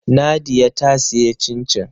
Nadia ta sayi cin-cin